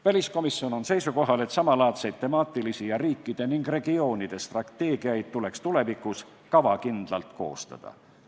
Väliskomisjon on seisukohal, et samalaadseid temaatilisi ning riikide ja regioonide strateegiaid tuleks tulevikus kavakindlalt koostada.